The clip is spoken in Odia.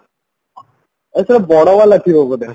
ଓ ସେଟା ବଡ ବାଲା ଥିବା ବୋଧେ